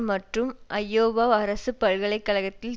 மற்றும் ஐயோவா அரசு பல்கலை கழகத்தில்